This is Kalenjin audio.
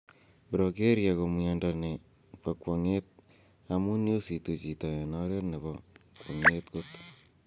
Progeria ko miondo ne po kwonget amun yositu chito en oret ne po kwonget kot.